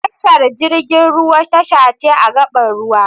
Tashar jirgin ruwa tasha ce a gaɓar ruwa